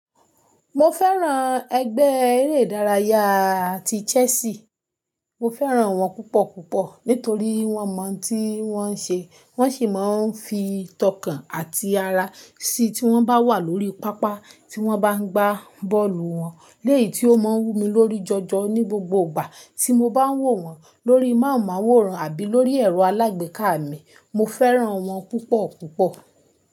Mo fẹ́ràn ẹgbẹ́ eré ìdárayá ti Chelsea. Mo fẹ́ràn wọ́n púpọ̀ púpọ̀ nítorí wọ́n mọ òun tí wọ́n ń ṣe, wọ́n sì máa ń fi tọkàn àti ara sí tí wọ́n bá wà lórí pápá tí wọ́n bá ń gbá bọ́ọ̀lù wọn. Lẹ́yì tí ó máa ń wú mi lórí jọjọ ní gbogbo ìgbà tí mo bá ń wò wọ́n lórí mahunmáwòrán àbí lórí ẹ̀rọ alágbèéká mi. Mo fẹ́ràn wọ́n púpọ̀ púpọ̀.